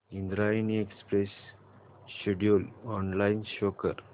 Indrayani express schedule online show कर